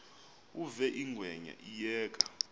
uve ingwenya iyeka